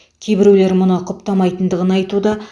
кейбіреулер бұны құптамайтындығын айтуда